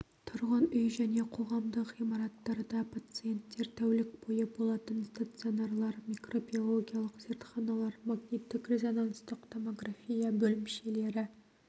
тұрғын үй және қоғамдық ғимараттарда пациенттер тәулік бойы болатын стационарлар микробиологиялық зертханалар магниттік-резонанстық томография бөлімшелері